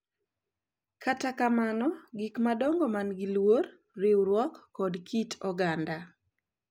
Kata kamano, gik madongo ma gin luor, riwruok, kod kit oganda .